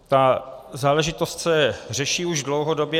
Ta záležitost se řeší už dlouhodobě.